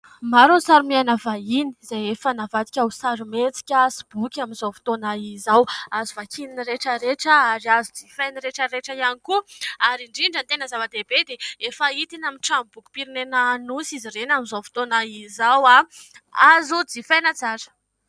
Maro ny sary miaina vahiny, izay efa navadika ho sarimihetsika sy boky amin'izao fotoana izao, azo vakian'ny rehetrarehetra ary azo jifain'ny rehetrarehetra ihany koa ary indrindra ny tena zava-dehibe dia efa hita eny amin'ny tranom-bokim-pirenena Anosy izy ireny amin'izao fotoana izao, azo jifaina tsara.